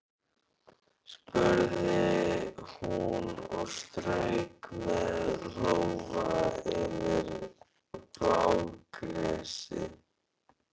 spurði hún og strauk með lófa yfir blágresi og sóleyjar.